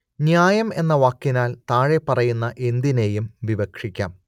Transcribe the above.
ന്യായം എന്ന വാക്കിനാൽ താഴെപ്പറയുന്ന എന്തിനേയും വിവക്ഷിക്കാം